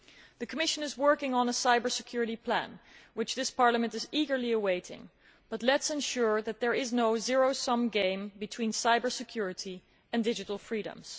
The Commission is working on a cyber security plan which this Parliament is eagerly awaiting, but let us ensure that there is no zero sum game between cyber security and digital freedoms.